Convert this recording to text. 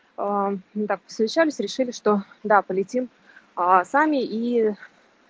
аа ну так посовещались решили что да полетим аа сами и